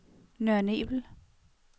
Nørre Nebel